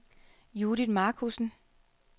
Judith Markussen